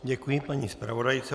Děkuji paní zpravodajce.